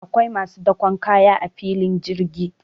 akwai masu dakon kaya a filin jirgi